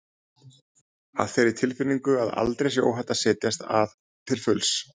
Af þeirri tilfinningu að aldrei sé óhætt að setjast að til fulls?